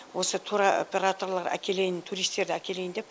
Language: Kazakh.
осы тур операторлар әкелейін туристерді әкелейін деп